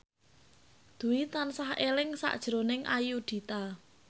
Dwi tansah eling sakjroning Ayudhita